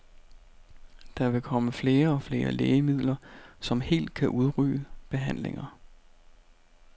Der vil komme flere og flere lægemidler, som helt kan udrydde behandlinger.